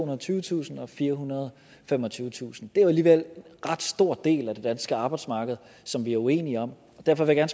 og tyvetusind og firehundrede og femogtyvetusind det er alligevel en ret stor del af det danske arbejdsmarked som vi er uenige om og derfor vil jeg